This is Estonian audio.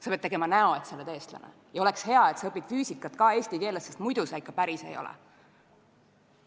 Sa pead tegema näo, et sa oled eestlane, ja oleks hea, kui sa õpid füüsikat ka eesti keeles, sest muidu sa ikka päris ei ole.